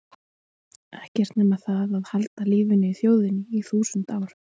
Ekkert nema það að halda lífinu í þjóðinni í þúsund ár.